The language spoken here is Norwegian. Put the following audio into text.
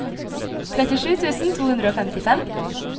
trettisju tusen to hundre og femtifem